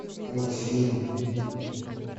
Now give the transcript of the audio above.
мультфильм